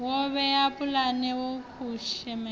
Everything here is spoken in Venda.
wo vhea pulane ya kushumele